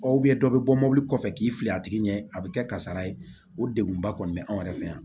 dɔ bɛ bɔ mobili kɔfɛ k'i fili a tigi ɲɛ a bɛ kɛ kasara ye o degunba kɔni bɛ anw yɛrɛ fɛ yan